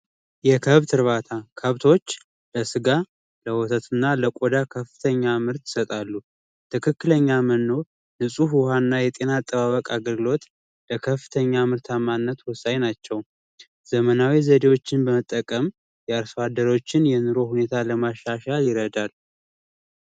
የከብት እርባታ ከብቶች ለስጋ ለወተትና ለቆዳ ከፍተኛ ምርት ይሰጣሉ ።ንፁህ ውሃና የጤና አጠባበቅ አገልግሎት ለከፍተኛ ምርታማነት ወሳኝ ናቸው። ዘመናዊ ዘዴዎችን በመጠቀም የአርሶ አደሮች የኑሮ ሁኔታ ለማሻሻል ይረዳል።